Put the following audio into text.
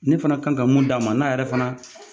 Ne fana kan ka mun d'a ma n'a yɛrɛ fana